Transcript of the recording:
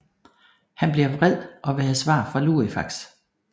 Han bliver vred og vil have svar fra Lucifax